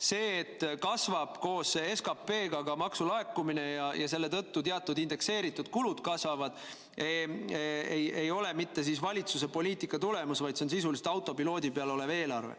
See, et koos SKP-ga kasvab ka maksulaekumine ja selle tõttu teatud indekseeritud kulud kasvavad, ei ole mitte valitsuse poliitika tulemus, vaid see on sisuliselt autopiloodi peal olev eelarve.